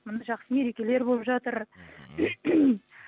міне жақсы мерекелер болып жатыр мхм